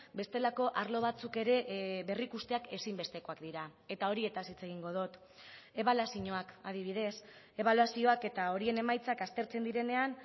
bestelako arlo batzuk ere berrikusteak ezinbestekoak dira eta horietaz hitz egingo dut ebaluazioak adibidez ebaluazioak eta horien emaitzak aztertzen direnean